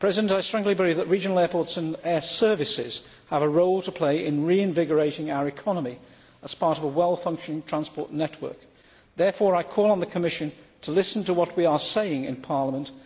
I strongly believe that regional airports and air services have a role to play in reinvigorating our economy as part of a well functioning transport network. Therefore, I call on the Commission to listen to what we are saying in Parliament.